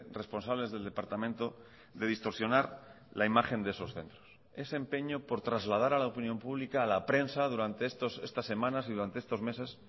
responsables del departamento de distorsionar la imagen de esos centros ese empeño por trasladar a la opinión pública a la prensa durante estas semanas y durante estos meses